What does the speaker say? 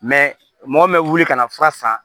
mɔgɔ min bɛ wuli ka na fura san